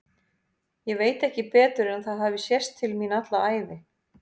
Ég veit ekki betur en að það hafi sést til mín alla ævi.